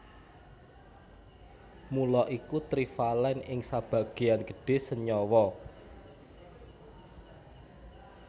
Mula iku trivalèn ing sebagéyan gedhé senyawa